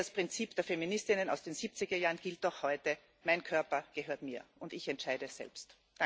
Denn das Prinzip der Feministinnen aus den 70er Jahren gilt auch heute Mein Körper gehört mir, und ich entscheide selbst.